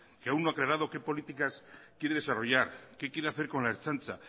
que aún no ha aclarado qué políticas quiere desarrollar qué quiere hacer con la ertzaintza